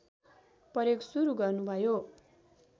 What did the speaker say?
प्रयोग सुरु गर्नुभयो